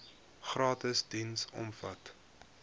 gratis diens omvat